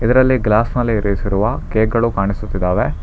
ಇದರಲ್ಲಿ ಗ್ಲಾಸ್ ನಲ್ಲಿ ಇರಿಸಿರುವ ಕೇಕ್ ಗಳು ಕಾಣಿಸುತ್ತಿದ್ದಾವೆ.